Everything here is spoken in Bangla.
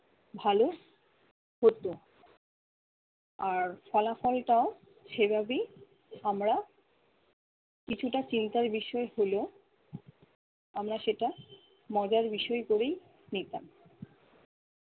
ভালো হতো। আর ফলাফলটাও সেভাবেই আমরা কিছুটা চিন্তার বিষয় হলেও আমরা সেটা মজার বিষয় করেই নিতাম।